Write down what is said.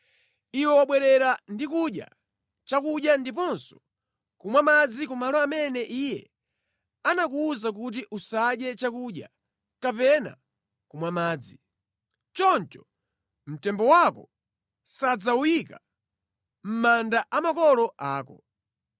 Iwe wabwerera ndi kudya chakudya ndiponso kumwa madzi ku malo amene Iye anakuwuza kuti usadye chakudya kapena kumwa madzi. Choncho mtembo wako sadzawuyika mʼmanda a makolo ako.’ ”